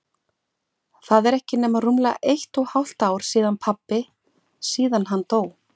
Það er ekki nema rúmlega eitt og hálft ár síðan pabbi- síðan hann dó.